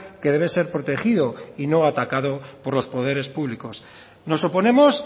que debe ser protegido y no atacado por los poderes públicos nos oponemos